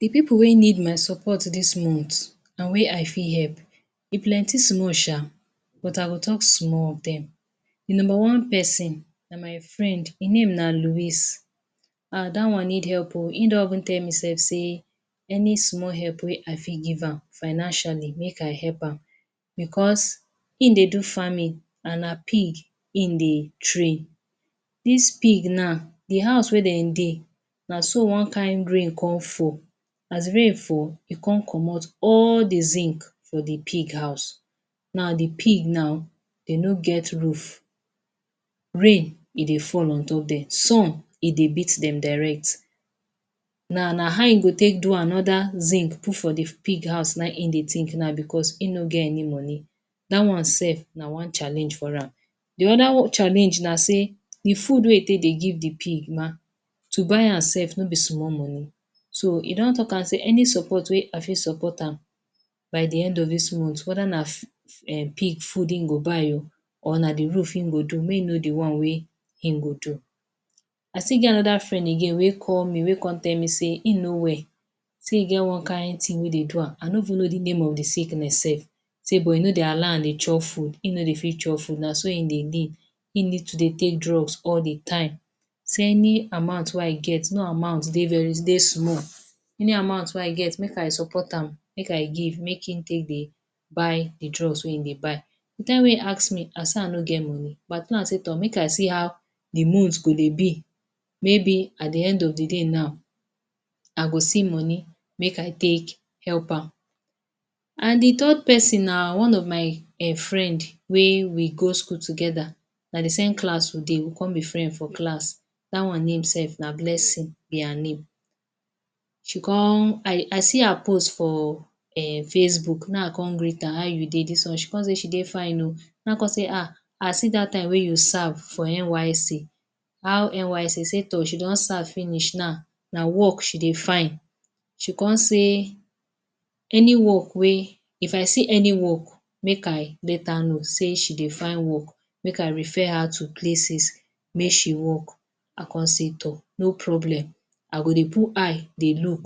D people wey need my support dis month and wey I fit help e plenty small sha but I go talk small of dem, d numba one person na my friend hin name na louis and dat one need help o hin don even tell me sef say any small help wey I fit give am financially make I help am because hin dey do farming and na pig hin dey train dis pig now d house wey dem dey naso one kin rain con fall as rain fall e con commot all d zinc for d pig house now d pig now dem no get roof rain e dey fall ontop dem some e dey beatdem direct, now na how e go take do anoda zinc put for d pig house nah in him dey think now because hin no get any money dat one self na one challenge for am d oda challenge na say d food wey hin take dey give d pig ma to buy am sef no b small money so he don talk am say any support wey I fit support am by d end of dis month weda na um pig food hin go buy oh or na d roof hin go do make hin know d one wey hin go do, I still get anoda friend again wey call me wey con tell me say hin no well say e get one kind thing wey dey do am I no even know d name of d sickness self sey but e no dey allow am dey chop food hin no dey fit chop food na so hin dey lean hin need to dey take drugs all d time say any amount wey I get no amount dey very dey small, any amount wey i get make I support am make I give make hin take dey buy d drugs wey hin dey buy d time wey hin ask me I say I no get money but i tell am say toh make I see how d month go dey b may be at d end of d day now I go see moni make i take help am. And d third person na one of my um friend wey we go school togeda na d same class we dey we con b friends for class dat one name safe na blessing b her name I see her post for um facebook nah in I con greet am say how u dey she con say she day fine o, nah in I con say um I see dat time wey u serve for NYSC how NYSC she say toh she don serve finish na work she dey find she con say any work wey if I see any work make I let her know say she dey find work make I refer her to places make she work I con say toh no problem I go dey put eye dey look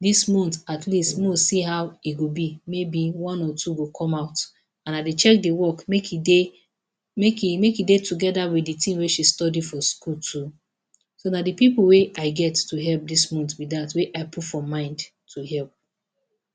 dis month at least make we see how e go b mayb one or two go come out and I dey check d work make e dey make e make e day togeda with d thing wey she study for school too, so na d people wey I get to help dis month be dat wey I put for mind to help.